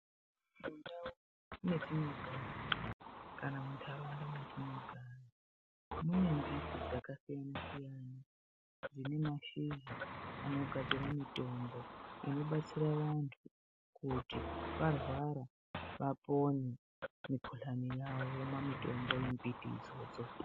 Mundau mwetinogara kana mundaraunda mwetinogara mune mbiti dzakasiyana-siyana dzine mashizha anogadzira mitombo inobatsira vantu kuti varwara vapore mikuhlani yavo vomwa mitombo yembiti idzodzo.